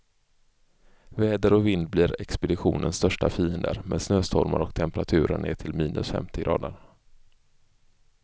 Väder och vind blir expeditionens största fiender, med snöstormar och temperaturer ner till minus femtio grader.